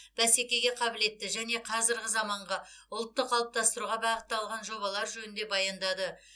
бәсекеге қабілетті және қазіргі заманғы ұлтты қалыптастыруға бағытталған жобалар жөнінде баяндады